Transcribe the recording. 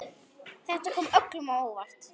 Þetta kom öllum á óvart.